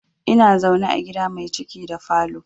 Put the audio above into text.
Ina zaune a gida mai ciki da falo